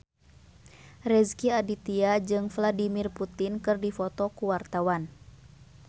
Rezky Aditya jeung Vladimir Putin keur dipoto ku wartawan